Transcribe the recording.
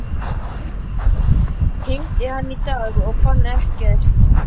Hitti hann í dag og fann ekkert.